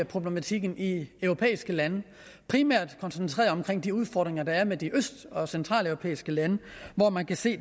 problematikken i europæiske lande primært koncentreret omkring de udfordringer der er med de øst og centraleuropæiske lande hvor man kan se